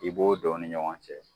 I b'o don u ni ɲɔgɔn cɛ